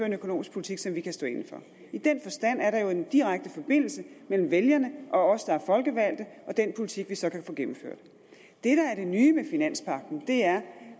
en økonomisk politik som de kan stå inde for i den forstand er der en direkte forbindelse mellem vælgerne og os der er folkevalgte og den politik vi så kan få gennemført det der er det nye ved finanspagten er